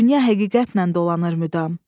Dünya həqiqətnən dolanır müdam.